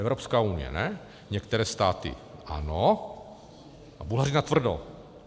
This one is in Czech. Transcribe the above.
Evropská unie ne, některé státy ano a Bulhaři natvrdo.